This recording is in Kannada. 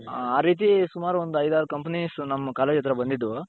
ಆ ರೀತಿ ಸುಮಾರ್ ಒಂದು ಐದಾರು companies ನಮ್ college ಹತ್ರ ಬಂದಿದ್ವು.